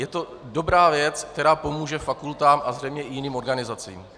Je to dobrá věc, která pomůže fakultám a zřejmě i jiným organizacím.